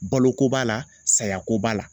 Baloko b'a la saya ko b'a la.